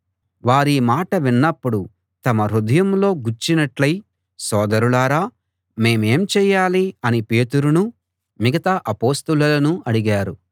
వారీ మాట విన్నప్పుడు తమ హృదయంలో గుచ్చినట్టయి సోదరులారా మేమేం చేయాలి అని పేతురునూ మిగతా అపొస్తలులనూ అడిగారు